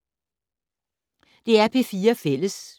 DR P4 Fælles